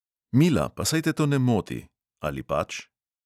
"Mila, pa saj te to ne moti, ali pač?"